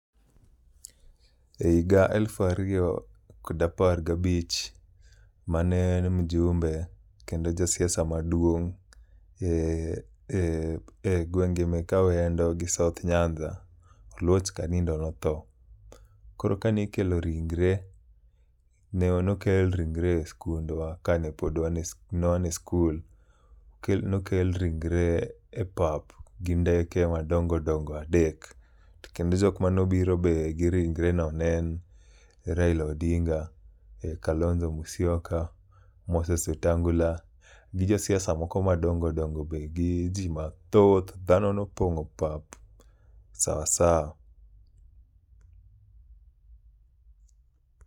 E higa elfariyo kod apar gabich mane en mjumbe kendo ja siasa maduong' e e e gweng' gi mek Awendo gi South Nyanza, Oluoch Kanindo notho. Koro kani kelo ringre, ne nokel ringre e skundwa ka ne pod wan ne wan e skul. Nokel ringre e pap gi ndeke madongo dongo adek. To kendo jok manobiro be gi ringre no ne en Raila Odinga, Kalonza Musyoka, Moses Wetangula, gi josiasa moko madongo dongo be gi ji mathoth, dhano nopong'o pap sawa sawa.